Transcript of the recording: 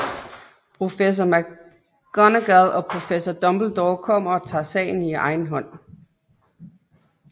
Professor McGonagall og Professor Dumbledore kommer og tager sagen i egen hånd